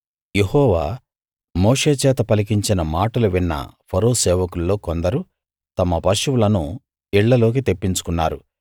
యెహోవా మోషే చేత పలికించిన మాటలు విన్న ఫరో సేవకుల్లో కొందరు తమ పశువులను ఇళ్లలోకి తెప్పించుకున్నారు